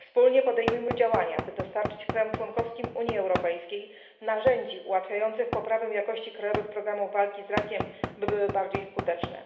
Wspólnie podejmujmy działania, by dostarczyć krajom członkowskim Unii Europejskiej narzędzi ułatwiających poprawę jakości krajowych programów walki z rakiem, by były bardziej skuteczne.